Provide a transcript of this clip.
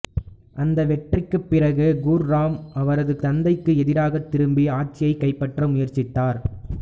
அந்த வெற்றிக்குப் பிறகு குர்ராம் அவரது தந்தைக்கு எதிராகத் திரும்பி ஆட்சியைக் கைப்பற்ற முயற்சித்தார்